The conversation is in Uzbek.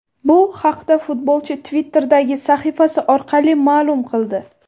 Bu haqda futbolchi Twitter’dagi sahifasi orqali ma’lum qildi .